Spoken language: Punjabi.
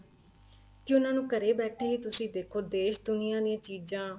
ਕੀ ਉਹਨਾ ਨੂੰ ਘਰੇ ਬੈਠੇ ਤੁਸੀਂ ਦੇਖੋ ਦੇਸ਼ ਦੁਨੀਆਂ ਦੀਆਂ ਚੀਜ਼ਾਂ